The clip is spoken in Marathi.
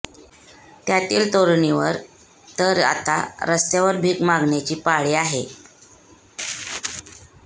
त्यातील तरूणीवर तर आता रस्त्यावर भिक मागण्याची पाळी आहे